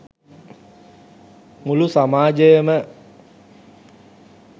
මුළු සමාජයම